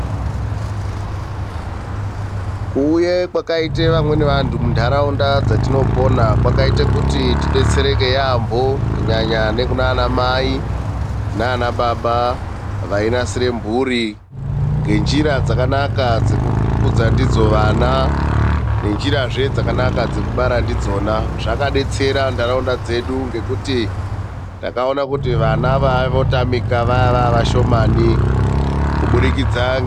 Kuuye kwakaite vamweni vantu munharaunda dzatinopona kwakaite kuti tidetsereke yaamho. Kunyanya nekunanamai nanababa vainasire mhuri ngenjira dzakanaka dzekukudza ndidzo vana nenjirazve dzakanaka dzekubara ndidzona. Zvakadetsera nharaunda dzedu ngekuti takaona kuti vana vaiye votamika vaiye vavashomani kubudikidza.